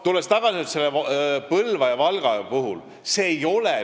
Tulen tagasi Põlva ja Valga juurde.